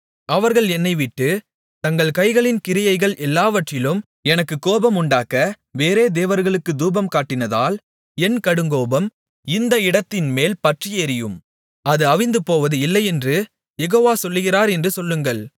அவர்கள் என்னைவிட்டு தங்கள் கைகளின் கிரியைகள் எல்லாவற்றிலும் எனக்குக் கோபமுண்டாக்க வேறே தேவர்களுக்குத் தூபம்காட்டினதால் என் கடுங்கோபம் இந்த இடத்தின்மேல் பற்றியெரியும் அது அவிந்துபோவது இல்லையென்று யெகோவ சொல்லுகிறார் என்று சொல்லுங்கள்